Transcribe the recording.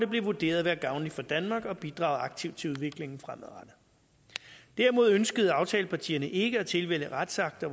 blev vurderet at være gavnlig for danmark og at bidrage aktivt til udviklingen fremadrettet derimod ønskede aftalepartierne ikke at tilvælge retsakter